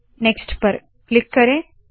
next पर click करे